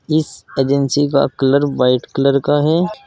इस एजेंसी का colour white colour का है।